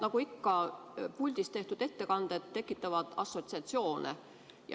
Nagu ikka, puldist tehtud ettekanded tekitavad assotsiatsioone.